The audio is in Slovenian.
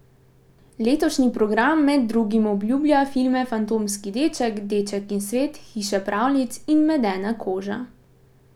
Letošnji program med drugim obljublja filme Fantomski deček, Deček in svet, Hiša pravljic in Medena koža.